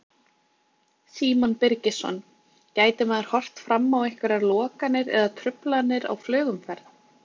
Símon Birgisson: Gæti maður horft fram á einhverjar lokanir eða truflanir á flugumferð?